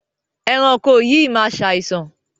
Ẹranko yìí máa ṣàìsàn.